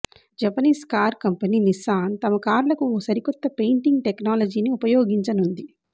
Japanese car company Nissan తమ కార్లకు ఓ సరికొత్త పెయింట్ టెక్నాలజీని ఉపయోగించనుంది